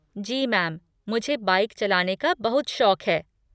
जी ma'am, मुझे bike चलाने का बहुत शौक है।